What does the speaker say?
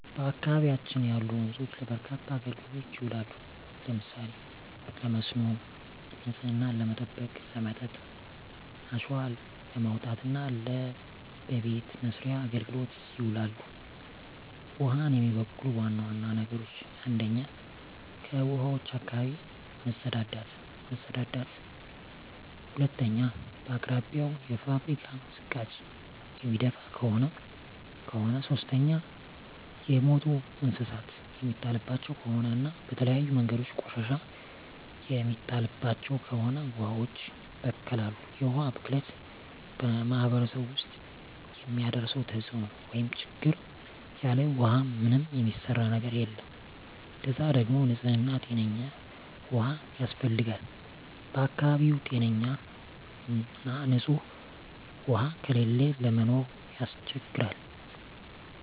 በአካባቢያችን ያሉ ወንዞች ለበርካታ አገልግሎቶች ይውላሉ። ለምሳሌ ለመስኖ፣ ንጽህናን ለመጠበቅ፣ ለመጠጥ፣ አሸዋ ለማውጣት እና ለበቤት መሥርያ አገልግሎት ይውላሉ። ውሀን የሚበክሉ ዋና ዋና ነገሮች 1ኛ ከውሀዋች አካባቢ መጸዳዳት መጸዳዳት 2ኛ በአቅራቢያው የፋብሪካ ዝቃጭ የሚደፍ ከሆነ ከሆነ 3ኛ የሞቱ እንስሳት የሚጣልባቸው ከሆነ እና በተለያዩ መንገዶች ቆሻሻ የሚጣልባቸው ከሆነ ውሀዋች ይበከላሉ። የውሀ ብክለት በማህረሰቡ ውስጥ የሚያደርሰው ተጽዕኖ (ችግር) ያለ ውሃ ምንም የሚሰራ ነገር የለም ለዛ ደግሞ ንጽህና ጤነኛ ውሃ ያስፈልጋል በአካባቢው ጤነኛ ና ንጽህ ውሃ ከሌለ ለመኖር ያስቸግራል።